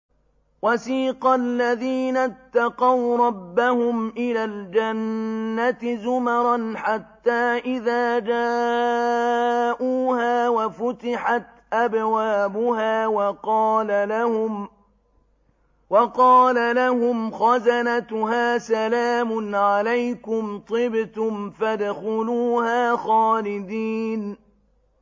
وَسِيقَ الَّذِينَ اتَّقَوْا رَبَّهُمْ إِلَى الْجَنَّةِ زُمَرًا ۖ حَتَّىٰ إِذَا جَاءُوهَا وَفُتِحَتْ أَبْوَابُهَا وَقَالَ لَهُمْ خَزَنَتُهَا سَلَامٌ عَلَيْكُمْ طِبْتُمْ فَادْخُلُوهَا خَالِدِينَ